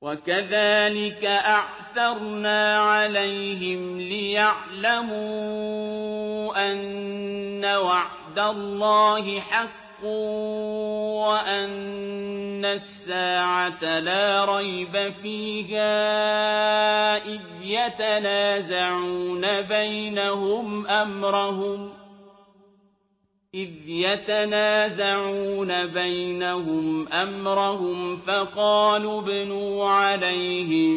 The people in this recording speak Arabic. وَكَذَٰلِكَ أَعْثَرْنَا عَلَيْهِمْ لِيَعْلَمُوا أَنَّ وَعْدَ اللَّهِ حَقٌّ وَأَنَّ السَّاعَةَ لَا رَيْبَ فِيهَا إِذْ يَتَنَازَعُونَ بَيْنَهُمْ أَمْرَهُمْ ۖ فَقَالُوا ابْنُوا عَلَيْهِم